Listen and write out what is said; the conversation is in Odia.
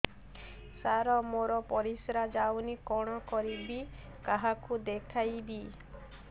ସାର ମୋର ପରିସ୍ରା ଯାଉନି କଣ କରିବି କାହାକୁ ଦେଖେଇବି